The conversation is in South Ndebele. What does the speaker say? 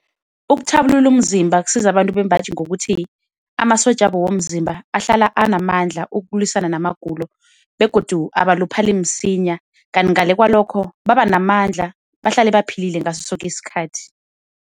Ukuthabulula umzimba kusiza abantu bembaji ngokuthi amasotja wabo womzimba ahlala anamandla ukulwisana namagulo begodu abaluphali msinya. Kanti ngale kwalokho baba namandla bahlale baphilile ngaso soke isikhathi.